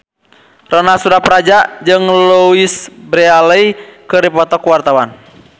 Ronal Surapradja jeung Louise Brealey keur dipoto ku wartawan